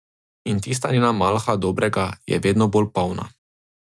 In tista njena malha dobrega je vedno bolj polna.